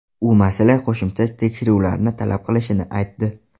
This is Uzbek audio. U masala qo‘shimcha tekshiruvlarni talab qilishini aytdi.